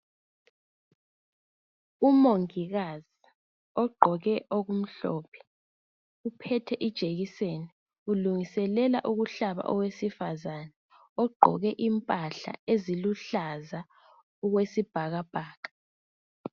umongikazi ogqoke okumhlophe uphethe ijekiseni ulungiselela ukuyohlaba owesifazane ogqoke impahla eziluhlaza okwesibhakabhaka